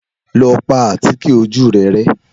Lọ pa àtíkè ojú rẹ rẹ́.